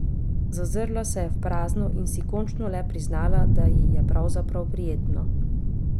Zazrla se je v prazno in si končno le priznala, da ji je pravzaprav prijetno.